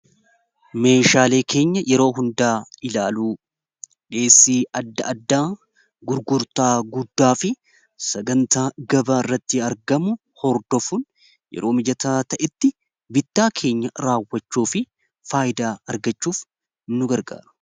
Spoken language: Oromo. meeshaalee keenya yeroo hundaa ilaalu dhiheessii adda addaa gurgurtaa guddaa fi sagantaa gabaa irratti argamu hordofuun yeroo mijataa ta'itti bidtaa keenya raawwachou fi faayidaa argachuuf nu gargaaru.